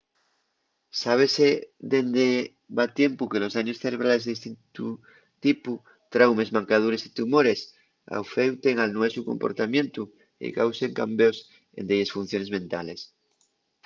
sábese dende va tiempu que los daños cerebrales de distintu tipu traumes mancadures y tumores afeuten al nuesu comportamientu y causen cambeos en delles funciones mentales